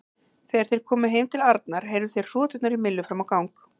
Þegar þeir komu heim til Arnar heyrðu þeir hroturnar í Millu fram á gang.